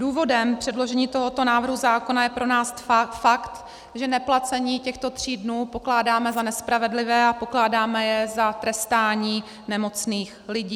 Důvodem předložení tohoto návrhu zákona je pro nás fakt, že neplacení těchto tří dnů pokládáme za nespravedlivé a pokládáme je za trestání nemocných lidí.